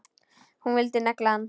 Hún vildi negla hann!